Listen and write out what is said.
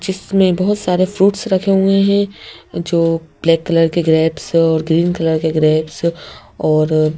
जिसमें बहुत सारे फ्रूट्स रखे हुए हैं जो ब्लैक कलर के ग्रेप्स और ग्रीन कलर के ग्रेप्स और--